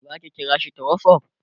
zaki kira shi ta whatsapp?